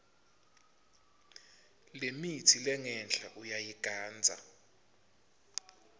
lemitsi lengenhla uyayigandza